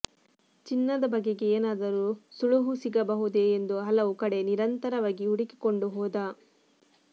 ಚಿನ್ನದ ಬಗೆಗೆ ಏನಾದರೂ ಸುಳುಹು ಸಿಗಬಹುದೇ ಎಂದು ಹಲವು ಕಡೆ ನಿರಂತರವಾಗಿ ಹುಡುಕಿಕೊಂಡು ಹೋದ